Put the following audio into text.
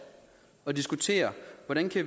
at diskutere hvordan